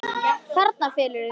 Þarna felurðu þig!